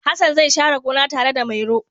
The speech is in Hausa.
Hassan zai share gona tare da Mairo.